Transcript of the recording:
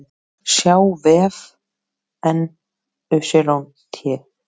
sjá vef NYT